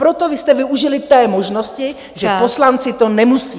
Proto vy jste využili té možnosti, že poslanci to nemusí.